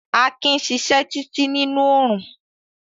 Akin sisẹ́ títí nínú orún